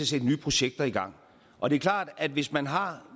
sætte nye projekter i gang og det er klart at hvis man har